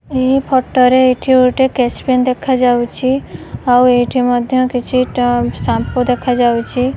ଏହି ଫଟ ରେ ଏଠି ଗୋଟେ ସ୍କେଚ ପେନ୍ ଦେଖା ଯାଉଛି। ଆଉ ଏଇଠି ମଧ୍ୟ କିଛି ଟ ସାମ୍ପୁ ଦେଖା ଯାଉଛି।